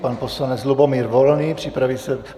Pan poslanec Lubomír Volný, připraví se...